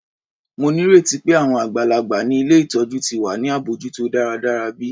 Mo nírètí pé àwọn àgbàlagbà ni ilé ìtọjú ti wà ní abójútó dáradára bi?